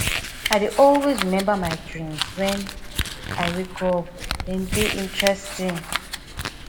i dey always remember my dreams when i wake up dem dey interesting